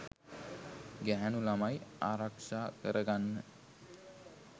ගැහැනු ළමයි ආරක්ෂා කරගන්න